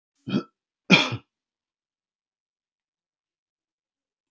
Það voru starfsmenn Vegagerðarinnar sem færðu steininn og fylgdist konan vel með.